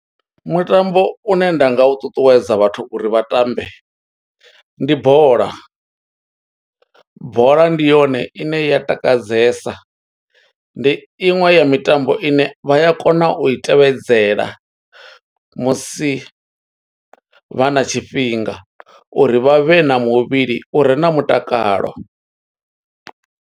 Mutambo une nda nga u ṱuṱuwedza vhathu uri vha tambe, ndi bola. Bola ndi yone ine ya takadzesa, ndi iṅwe ya mitambo ine vha ya kona u i tevhedzela, musi vha na tshifhinga, uri vha vhe na muvhili u re na mutakalo.